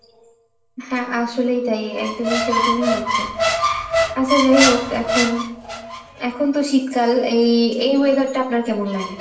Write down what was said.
হ্যাঁ আসলেই তাই একদমই সেরকমই হচ্ছে। আচ্ছা যাই হউক এখন, এখনতো শীতকাল এই~ এই weather টা আপনার কেমন লাগে?